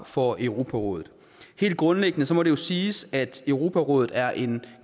for europarådet helt grundlæggende må det jo siges at europarådet er en